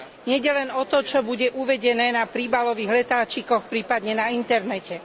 Nejde len o to, čo bude uvedené na príbalových letáčikoch, prípadne na internete.